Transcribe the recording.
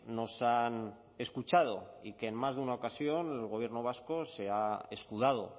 nos han escuchado y que en más de una ocasión el gobierno vasco se ha escudado